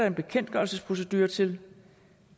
en bekendtgørelsesprocedure til